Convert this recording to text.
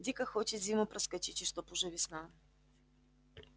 дико хочет зиму проскочить и чтобы уже весна